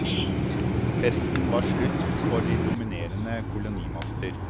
Festen var slutt for de dominerende kolonimakter.